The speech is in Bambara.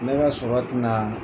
Ne ka sɔrɔ tɛ na